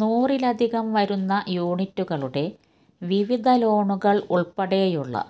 നൂറിലധികം വരുന്ന യൂണിറ്റുകളുടെ വിവിധ ലോണുകള് ഉള്പ്പെടെയുള്ള